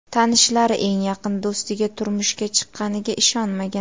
Tanishlari eng yaqin do‘stiga turmushga chiqqaniga ishonmagan.